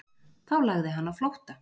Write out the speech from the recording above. Þá lagði hann á flótta